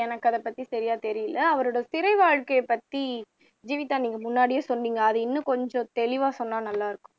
எனக்கு அதைப்பத்தி சரியா தெரியல அவரோட சிறை வாழ்க்கையைப்பத்தி ஜீவிதா நீங்க முன்னாடியே சொன்னீங்க அதை இன்னும் கொஞ்சம் தெளிவா சொன்னா நல்லா இருக்கும்